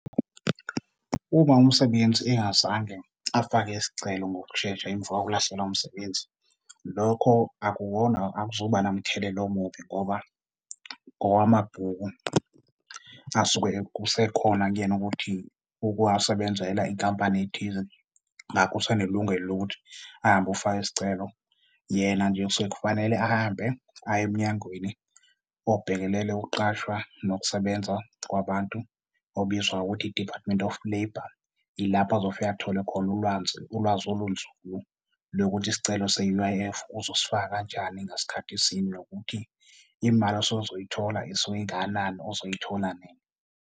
Uma umsebenzi engazange afake isicelo ngokushesha emva kokulahlekelwa umsebenzi, lokho akuwona akuzuba namthelela omubi ngoba owamabhuku asuke kusekhona kuyena ukuthi uke wasebenzela inkampani ethize ngakho usanelungelo lokuthi ahambe ofaka isicelo. Yena nje kusuke kufanele ahambe aye emnyangweni obhekelele ukuqashwa nokusebenza kwabantu, obizwa ukuthi i-Department of Labour, ilapho azofika athole khona ulwazi, ulwazi olunzulu lokuthi isicelo se-U_I_F uzosifaka kanjani, ngasikhathi sini nokuthi imali asezoyithola isuke ingakanani uzoyithola nini.